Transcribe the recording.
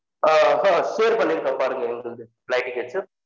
அ ஹ share பன்னிருகென் பாருங்க எங்கிட்ட இருந்து flight tickets